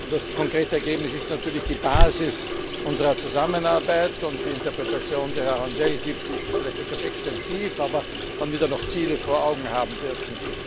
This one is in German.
Das konkrete Ergebnis ist natürlich die Basis unserer Zusammenarbeit, und die Interpretation, die Herr Rangel gibt, ist vielleicht etwas extensiv, aber man wird ja noch Ziele vor Augen haben dürfen.